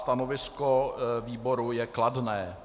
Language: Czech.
Stanovisko výboru je kladné.